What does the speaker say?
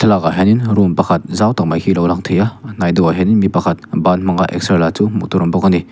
ah hianin room pakhat zau tak mai hi loclang thei a a hnai deuh ah hian mi pakhat a ban hmanga exer la chu hmuh tur awm bawk a ni.